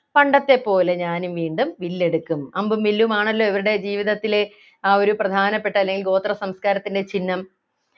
പണ്ടത്തെപ്പോലെ ഞാനും വീണ്ടും വില്ലെടുക്കും അമ്പും വില്ലും ആണല്ലോ ഇവരുടെ ജീവിതത്തിലെ ആ ഒരു പ്രധാനപ്പെട്ട അല്ലെങ്കിൽ ഗോത്ര സംസ്കാരത്തിന്റെ ചിഹ്നം